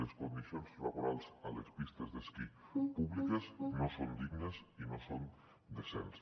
les condicions laborals a les pistes d’esquí públiques no són dignes i no són decents